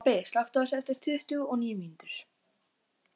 Þannig öðlaðist ég það sem ég gæfi öðrum.